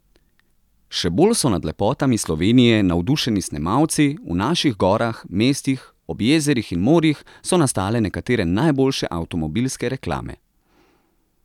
Še bolj so nad lepotami Slovenije navdušeni snemalci, v naših gorah, mestih, ob jezerih in morjih so nastale nekatere najboljše avtomobilske reklame.